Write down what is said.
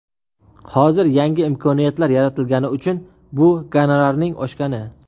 Hozir yangi imkoniyatlar yaratilgani uchun bu gonorarning oshgani.